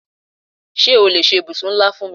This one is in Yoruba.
Ṣé o lè ṣe ibùsùn ńlá fún mi?